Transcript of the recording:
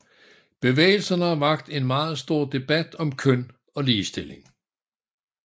Bevægelsen har vakt en meget stor debat om køn og ligestilling